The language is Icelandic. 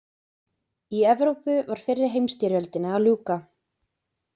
Í Evrópu var fyrri heimsstyrjöldinni að ljúka.